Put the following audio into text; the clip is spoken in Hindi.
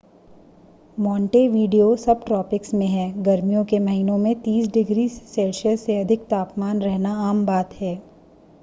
मोंटेवीडियो सबट्रॉपिक्स में है गर्मियों के महीनों में + 30° c से अधिक तापमान रहना आम बात है